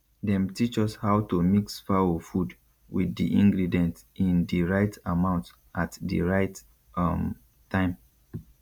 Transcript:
dem teach us how to mix fowl food wit di ingredient in di right amount at di right um time